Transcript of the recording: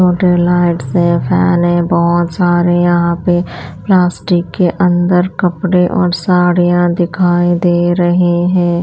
छोटे लाइटस है फैन है बहुत सारे यहाँ पे प्लास्टिक के अंदर कपड़े और साड़ियाँ दिखाई दे रहीं है।